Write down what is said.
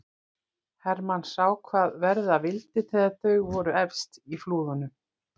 Hermann sá hvað verða vildi þegar þau voru efst í flúðunum.